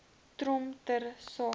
trom ter sake